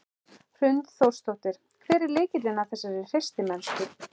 Hrund Þórsdóttir: Hver er lykillinn að þessari hreystimennsku?